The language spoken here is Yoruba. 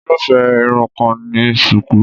Irúfé Irun kan ni shuku.